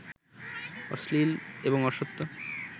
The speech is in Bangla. অশ্লীল এবং অসত্য